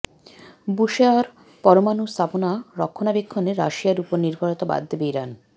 Bushehr পরমাণু স্থাপনা রক্ষণাবেক্ষণে রাশিয়ার ওপর নির্ভরতা বাদ দেবে ইরান